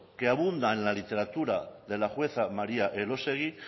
que abunda en la literatura de la jueza maría elósegui